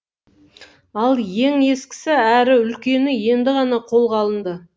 ал ең ескісі әрі үлкені енді ғана қолға алынды